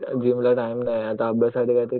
gym ला time नाही आता अभ्यास साठी